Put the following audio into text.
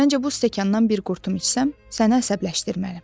Məncə bu stəkandan bir qurtum içsəm sənə əsəbləşdirmərəm.